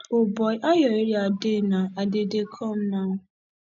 o boy how your area dey now i dey dey come now